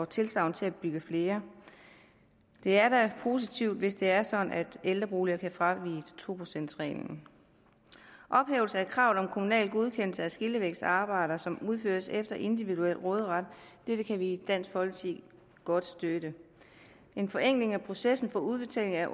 tilsagn til at bygge flere det er da positivt hvis det er sådan at byggeri ældreboliger kan fraviges to procent reglen ophævelse af kravet om kommunal godkendelse af skillevægsarbejder som udføres efter individuel råderet dette kan vi i dansk folkeparti godt støtte en forenkling af processen for udbetaling af